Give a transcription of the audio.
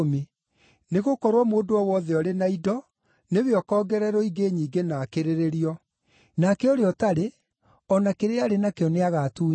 Nĩgũkorwo mũndũ o wothe ũrĩ na indo nĩwe ũkoongererwo ingĩ nyingĩ na akĩrĩrĩrio. Nake ũrĩa ũtarĩ, o na kĩrĩa arĩ nakĩo nĩagatuunywo.